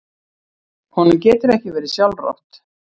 Honum getur ekki verið sjálfrátt.